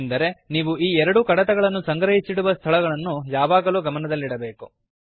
ಎಂದರೆ ನೀವು ಈ ಎರಡೂ ಕಡತಗಳನ್ನು ಸಂಗ್ರಹಿಡುವ ಸ್ಥಳವನ್ನು ಯಾವಾಗಲೂ ಗಮನದಲ್ಲಿಡಬೇಕು